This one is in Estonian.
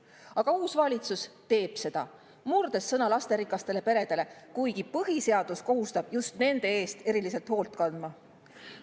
Aga uus valitsus teeb seda, murdes lasterikastele peredele antud sõna, kuigi põhiseadus kohustab just nende eest eriliselt hoolt kandma.